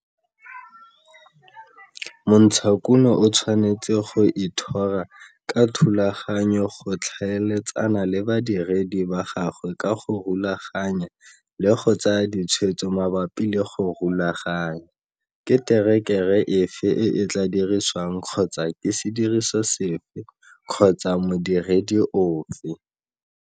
Montshakuno o tshwanetse go ithora ka thulaganyo go tlhaeletsana le badiredi ba gagwe ka go rulaganya le go tsaya ditshwetso mabapi le go rulaganya ke terekere efe e e tlaa dirisiwang kgotsa ke sediriso sefe kgotsa modiredi ofe.